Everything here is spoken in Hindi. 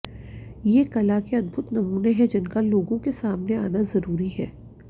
ये कला के अदभुत नमूने हैं जिनका लोगों के सामने आना जरूरी है